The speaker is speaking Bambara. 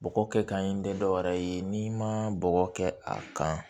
Bɔgɔ kɛ kan in tɛ dɔwɛrɛ ye n'i ma bɔgɔ kɛ a kan